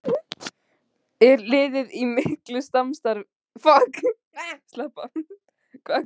Er liðið í miklu samstarfi við Stjörnuna?